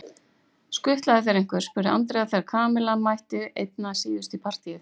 Skutlaði þér einhver? spurði Andrea þegar Kamilla mætti einna síðust í partíið.